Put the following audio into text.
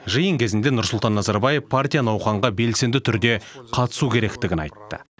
жиын кезінде нұрсұлтан назарбаев партия науқанға белсенді түрде қатысу керектігін айтты